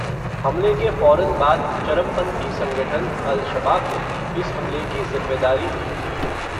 हमले के फ़ौरन बाद चरमपंथी संगठन अल-शबाब ने, इस हमले की ज़िम्मेदारी ली थी.